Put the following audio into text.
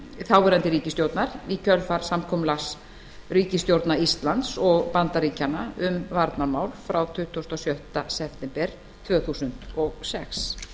þáverandi ríkisstjórnar í kjölfar samkomulags ríkisstjórna íslands og bandaríkjanna um varnarmál frá tuttugasta og sjötta september tvö þúsund og sex